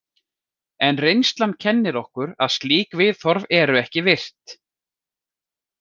En reynslan kennir okkur að slík viðhorf eru ekki virt.